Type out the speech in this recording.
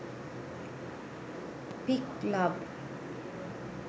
pic love